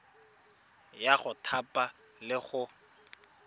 ya go thapa le go